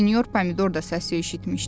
Sinyor Pomidor da səsi eşitmişdi.